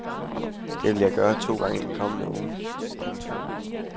Det vil jeg gøre to gange i den kommende uge. punktum